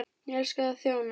Ég elska að þjóna.